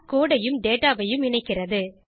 codeஐயும் dataஐயும் இணைக்கிறது